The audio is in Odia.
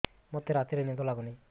ମୋତେ ରାତିରେ ନିଦ ଲାଗୁନି